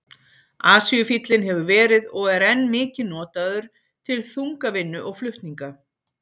Asíufíllinn hefur verið og er enn mikið notaður til þungavinnu og flutninga.